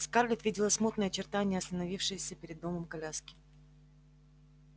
скарлетт видела смутные очертания остановившейся перед домом коляски